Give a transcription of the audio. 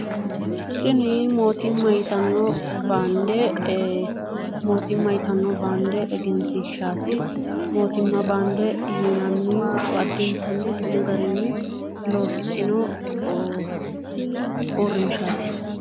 Tini mootimma yitanni baande mootimma yitanni baande Egensiishaati motimma baande yinanni addintanni Xumu garinni losixino uurrinshaati